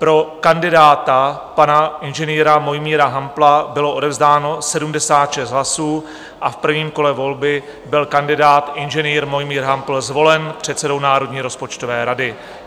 Pro kandidáta, pana inženýra Mojmíra Hampla, bylo odevzdáno 76 hlasů a v prvním kole volby byl kandidát, inženýr Mojmír Hampl, zvolen předsedou Národní rozpočtové rady.